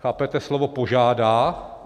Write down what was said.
Chápete slovo požádá?